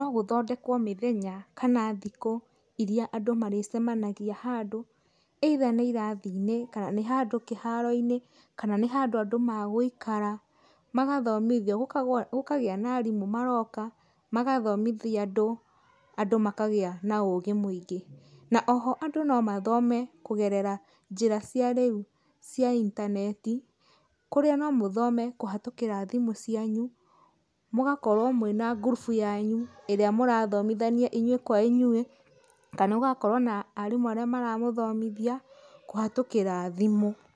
No gũthondekwo mĩthenya kana thikũ iria andũ marĩcemanagia handũ, either nĩ irathi-inĩ kana nĩ handũ kĩharo-inĩ, kana nĩ handũ andũ magũikara, magathomithio, gũkagĩa na arimũ maroka, magathomithia andũ, andũ makagĩa na ũgĩ mwĩingĩ. Na oho andũ no mathome kũgerera njĩra cia rĩu cia intaneti, kũrĩa no mũthome kũhatũkĩra thimũ cianyu, mũgakorwo mwĩna ngurubu yanyu, ĩrĩa mũrathomithania inyui kwa inyui, kana mũgakorwo na arimũ arĩa maramũthomithia kũhatũkĩra thimũ.